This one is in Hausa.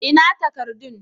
Ina takardun?